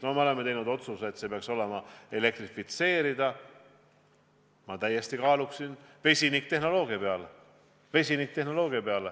No me oleme teinud otsuse, et rongiliiklus peaks olema elektrifitseeritud, aga ma täiesti kaaluksin ka vesiniktehnoloogiat.